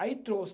Aí trouxe.